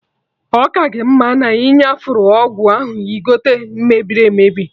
Ọ ka gị mma na-iyafuru ọgwụ ahụ igote mebiri emebi